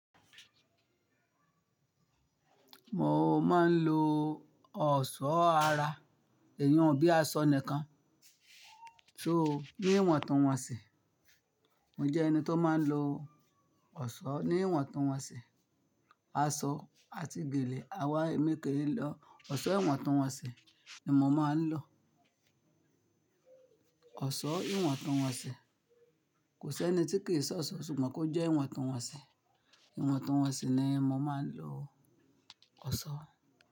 Mo máa ń lo ọ̀ṣọ́ ara iyun bíi aṣọ nìkan, so ní ìwọ̀ntúnwọ̀nsì. Mo jẹ́ ẹni tó máa ń lo ọ̀ṣọ́ ní ìwọ̀ntúnwọ̀nsì, aṣọ àti gèlè, àwọn èémí kiri lọ. Ọ̀ṣọ́ ìwọ̀ntúnwọ̀nsì ni mo máa ń lò. Ọ̀ṣọ́ ìwọ̀ntúnwọ̀nsì kò sẹ́ni tí kì í ṣọṣọ ṣùgbọ́n kó jẹ́ ìwọ̀ntúnwọ̀nsì. Ìwọ̀ntúnwọ̀nsì ni mo máa ń lo ọ̀ṣọ́.